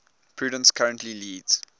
purdue currently leads